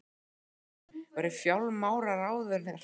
Fréttamaður: Væri fjármálaráðuneytið þér að skapi?